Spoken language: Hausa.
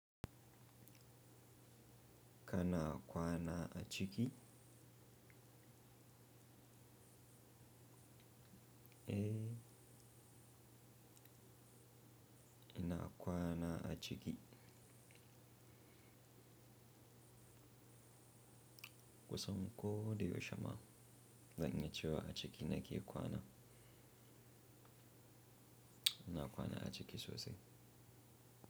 Kana kwana a ciki? Eh, ina kwana a ciki. Kusan ko da yaushama, zan iya cewa a ciki nake kwana. Ina kwana a ciki sosai.